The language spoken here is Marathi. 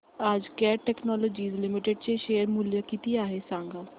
आज कॅट टेक्नोलॉजीज लिमिटेड चे शेअर चे मूल्य किती आहे सांगा